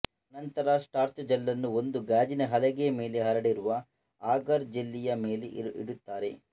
ಅನಂತರ ಸ್ಟಾರ್ಚಜಲ್ಲನ್ನು ಒಂದು ಗಾಜಿನ ಹಲಗೆಯ ಮೇಲೆ ಹರಡಿರುವ ಆಗಾರ್ ಜೆಲ್ಲಿನ ಮೇಲೆ ಇಡುತ್ತಾರೆ